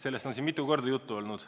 Sellest on siin mitu korda juttu olnud.